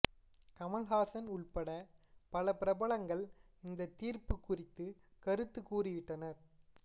கமல்ஹாசன் உள்பட பல பிரபலங்கள் இந்த தீர்ப்பு குறித்து கருத்து கூறிவிட்டனர்